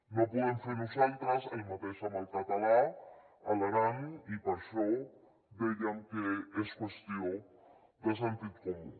no podem fer nosaltres el mateix amb el català a l’aran i per això dèiem que és qüestió de sentit comú